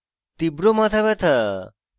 তীব্র মাথা ব্যাথা এবং